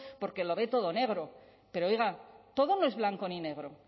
porque lo ve todo negro pero oiga todo no es blanco ni negro